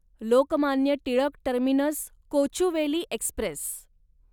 Lokmanya Tilak terminus Kochuveli Express